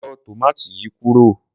Yọ tòmátì yìí kúrò.